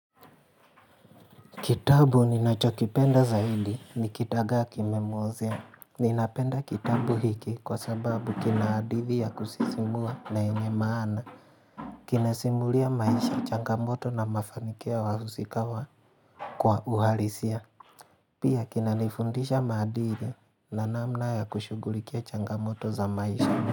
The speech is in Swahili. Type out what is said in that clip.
Kitabu ninachokipenda zaidi ni kidagaa kimemuozea. Ninapenda kitabu hiki kwa sababu kinahadithi ya kusisimua na yenye maana. Kinasimulia maisha changamoto na mafanikio ya wahusika wa kwa uhalisia. Pia kina nifundisha maandiri na namna ya kushugulikia changamoto za maisha.